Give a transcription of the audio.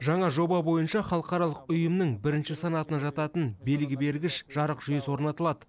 жаңа жоба бойынша халықаралық ұйымның бірінші санатына жататын белгі бергіш жарық жүйесі орнатылады